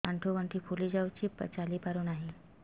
ଆଂଠୁ ଗଂଠି ଫୁଲି ଯାଉଛି ଚାଲି ପାରୁ ନାହିଁ